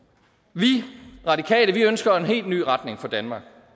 vi radikale ønsker en helt ny retning for danmark